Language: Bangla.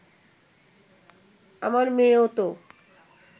আমার মেয়েও তো